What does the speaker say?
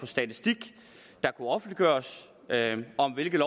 statistik der kunne offentliggøres om hvilken